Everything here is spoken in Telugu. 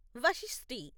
వశిష్టి